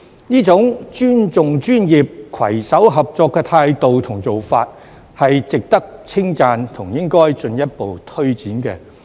這種尊重專業、攜手合作的態度和做法，是值得稱讚和應該進一步推展。